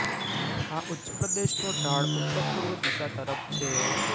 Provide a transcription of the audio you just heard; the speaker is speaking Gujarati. આ ઉચ્ચ્પ્રદેશનો ઢાળ ઉત્તર પૂર્વ દિશા તરફ છે